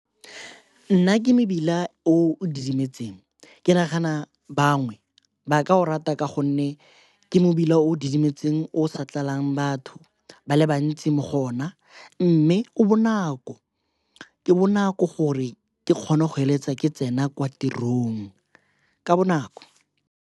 Nna ke mebila o o didimetseng. Ke nagana bangwe ba ka o rata ka gonne ke mebila o o didimetseng o sa utlwalang batho ba le bantsi mo go ona mme o bonako. Ke bonako gore ke kgone go eletsa ke tsena kwa tirong ka bonako.